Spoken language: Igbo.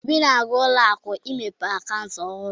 Obi na-aga ụlọ akụ imepe akaụntụ ọhurụ.